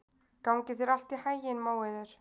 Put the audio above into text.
Gangi þér allt í haginn, Móeiður.